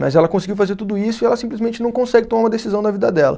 Mas ela conseguiu fazer tudo isso e ela simplesmente não consegue tomar uma decisão na vida dela.